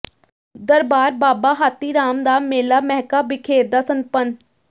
ਦਰਬਾਰ ਬਾਬਾ ਹਾਥੀ ਰਾਮ ਦਾ ਮੇਲਾ ਮਹਿਕਾਂ ਬਿਖੇਰਦਾ ਸੰਪੰਨ